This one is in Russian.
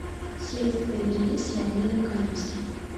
следствие вели с леонидом каневским